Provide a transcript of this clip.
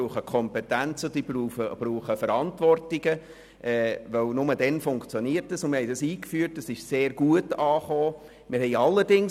Ich ging der Sache nach und dachte, dass dies weder gut noch gesund sei.